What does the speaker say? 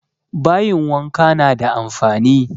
Bayin wanka na da amfani